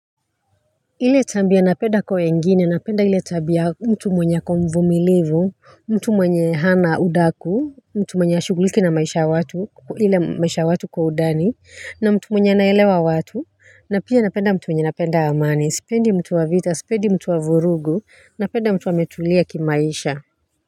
Ile tabia napenda kwa wengini napenda ile tabia mtu mwenye ako mvimilivu mtu mwenye hana udaku mtu mwenye hashuguliki na maisha ya watu ile maisha ya watu kwa undani na mtu mwenye anaelewa watu na pia napenda mtu mwenye anapenda amani sipendi mtu wa vita sipendi mtu wa vurugu napenda mtu wa ametulia kimaisha.